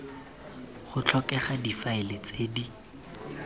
go tlhokega difaele tse di